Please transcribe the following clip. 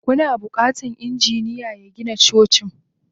Kana bukatan injiniya ya Gina Cocin.